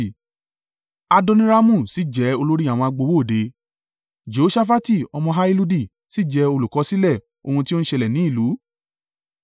Adoniramu sì jẹ́ olórí àwọn agbowó òde; Jehoṣafati ọmọ Ahiludi sì jẹ́ olùkọsílẹ̀ ohun tí ó ń ṣẹlẹ̀ ní ìlú.